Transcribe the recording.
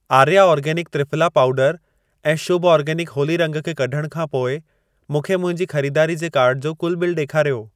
Arya organic triphala पाउडरु ऐं Shubh organic Holi रंग खे कढण खां पोइ मूंखे मुंहिंजी खरीदारी जे कार्ट जो कुल बिल ॾेखारियो।